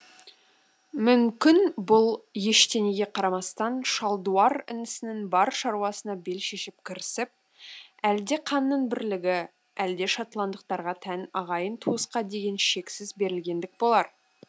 мүмкін бұл ештеңеге қарамастан шалдуар інісінің бар шаруасына бел шешіп кірісіп әлде қанның бірлігі әлде шотландтықтарға тән ағайын туысқа деген шексіз берілгендік болар